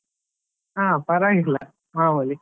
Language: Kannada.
ಹಾ ಪರವಾಗಿಲ್ಲ, ಮಾಮೂಲಿ.